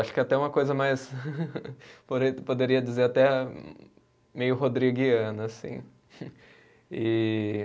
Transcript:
Acho que até uma coisa mais poderia dizer até, meio rodriguiana assim, e